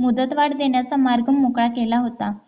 मुदतवाढ देण्याचा मार्ग मोकळा केला होता